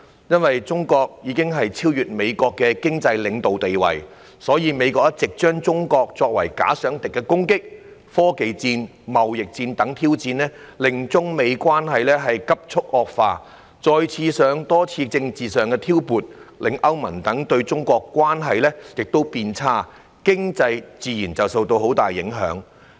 由於中國已經超越美國的經濟領導地位，美國一直視中國為"假想敵"，展開科技戰、貿易戰等攻擊和挑戰，令中美關係急促惡化；再加上多次政治挑撥，令中國與歐盟等地的關係亦變差，經濟自然受到很大影響。